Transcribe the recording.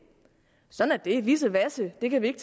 sådan er det vissevasse det kan vi ikke